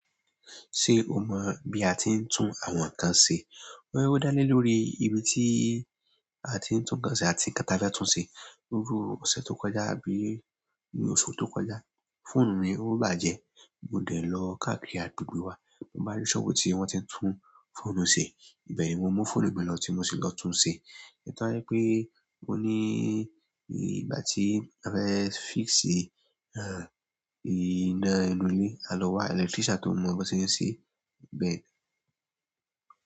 Ṣé o mọ́ bi a ti ń tún àwọn nǹkan ṣe? Ó dá lé lórí ìbí tí a ti ń tún nǹkan ṣe àti nkan ta fẹ tún ṣe. Iru ọ̀sẹ̀ tó kọjá àbí ní oṣù tó kọjá. Fóònù mi ò bá jẹ, mo dẹ̀ lọ káàkiri àdúgbò wa, mo bá rí sọ́ọ̀bù tí wọ́n ti ń tún fóònù ṣe. Bẹ́ẹ̀ ni mo mú fóònù mi lọ tí mo sì lọ tún un ṣe. Mo tun wà ri pé mo ní ìgbà tí a fẹ́ fix ìná inú ilé, a lọ wa electrician tó mọ̀ ọ́n bọ̀ sì lọ ṣe bẹ́ẹ̀.